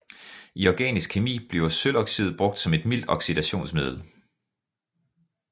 I organisk kemi bliver sølvoxid brugt som et mildt oxidationsmiddel